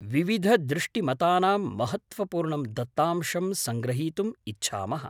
विविधदृष्टिमतानां महत्त्वपूर्णं दत्तांशं सङ्गृहीतुम् इच्छामः।